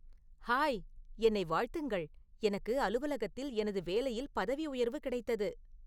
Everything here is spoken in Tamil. ஹாய் என்னை வாழ்த்துங்கள் எனக்கு அலுவலகத்தில் எனது வேலையில் பதவி உயர்வு கிடைத்தது